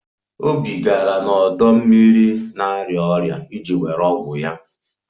Obi gara n'ọdọ mmiri na-arịa ọrịa iji were ọgwụ ya